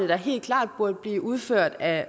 helt klart burde blive udført af